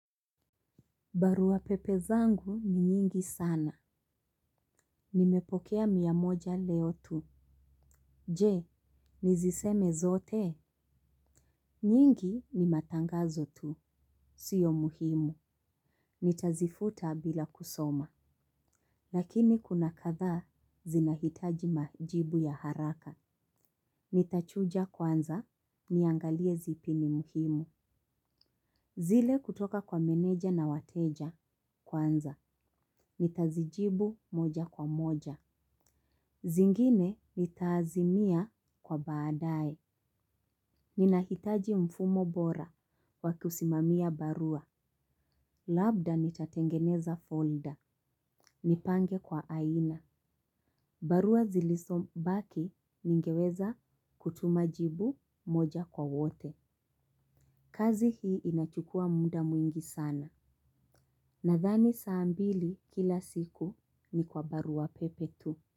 Barua pepe zangu ni nyingi sana. Nimepokea miamoja leo tu. Je, niziseme zote. Nyingi ni matangazo tu. Sio muhimu. Nitazifuta bila kusoma. Lakini kuna kadha zinahitaji majibu ya haraka. Nitachuja kwanza, niangalie zipi ni muhimu. Zile kutoka kwa meneja na wateja kwanza. Nitazijibu moja kwa moja. Zingine nitaazimia kwa baadae. Ninahitaji mfumo bora wakusimamia barua. Labda nitatengeneza folder. Nipange kwa aina. Barua zilisobaki ningeweza kutuma jibu moja kwa wote. Kazi hii inachukua muda mwingi sana. Nadhani saa mbili kila siku ni kwa barua pepe tu.